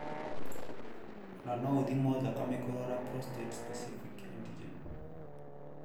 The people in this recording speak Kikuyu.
Ona no ũthimo thakame kũrora prostrate specific Antigen(PSA)